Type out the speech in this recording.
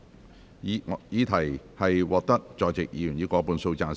我認為議題獲得在席委員以過半數贊成。